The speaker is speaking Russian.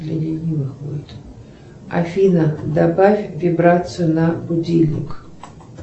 афина добавь вибрацию на будильник